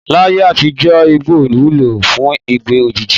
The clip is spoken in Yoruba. Láyé àtijó̩ igbó wúlò fún ìgbé̩ òjijì.